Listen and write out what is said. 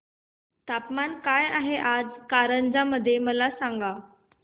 तापमान काय आहे आज कारंजा मध्ये मला सांगा